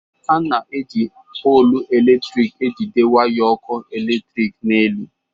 A na-eji polụ eletrik ejide waya ọkụ eletrik n'elu.